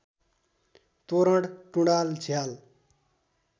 तोरण टुँडाल झ्याल